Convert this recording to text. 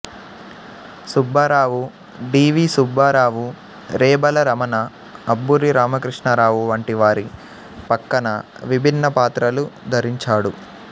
Subbarao D V Subbarao Rebala Ramana Abburi Ramakrishnarao వంటి వారి పక్కన విభిన్నపాత్రలు ధరించాడు